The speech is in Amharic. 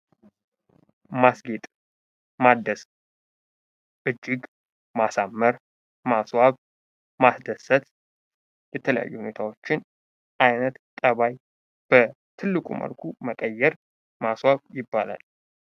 ማስጌጥ፣ ማደስ እጅግ ማሳመር፣ ማስዋብ ፣ ማስደሰት የተለያዩ ሁኔታዎችን አይነት ጠባይ በትልቁ መልኩ መቀየር ማስዋብ ይባላል።